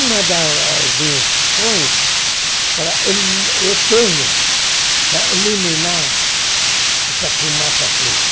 Uma das invenções para eu eu tenho para eliminar essa fumaça preta,